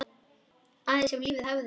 Aðeins ef lífið hefði.?